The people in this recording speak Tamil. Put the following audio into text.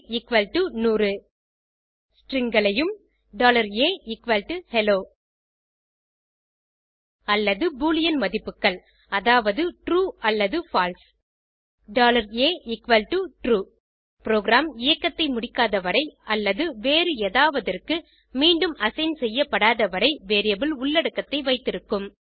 stringகளையும் ahello அல்லது பூலியன் மதிப்புகள் அதாவது ட்ரூ அல்லது பால்சே atrue புரோகிராம் இயக்கத்தை முடிக்காத வரை அல்லது வேறுஎதாவதற்கு மீண்டும் அசைன் செய்யப்படாத வரை வேரியபிள் உள்ளடக்கத்தை வைத்திருக்கும்